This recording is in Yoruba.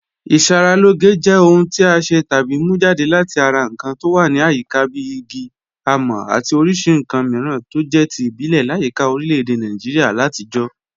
Ìṣàralọ́gẹ̀ jẹ́ ọ̀hùn tí a ṣẹ́ tàbí mú jadẹ̀ láti ara nkàn tó wà ní àyíká bí ìgí, àmọ̀ àti oríṣì nkàn míràn tó jẹ̀ tí ìbílẹ̀ làyíkà orílẹ̀-èdè Nàìjíríà làtijọ̀.